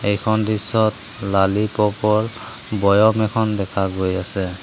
এইখন দৃশ্যত লালিপপৰ বৈয়ম এখন দেখা গৈ আছে।